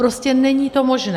Prostě není to možné.